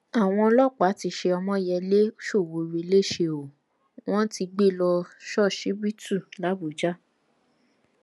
àwọn ọlọpàá ti ṣe ọmọyẹlẹ sowore lẹsẹ o wọn ti gbé e lọ ṣọsibítù làbújá